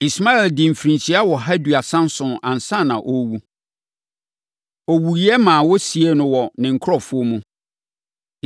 Ismael dii mfirinhyia ɔha aduasa nson ansa na ɔrewu. Ɔwuiɛ ma wɔsiee no wɔ ne nkurɔfoɔ mu.